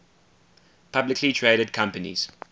publicly traded companies